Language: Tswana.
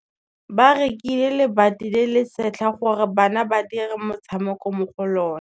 Ba rekile lebati le le setlha gore bana ba dire motshameko mo go lona.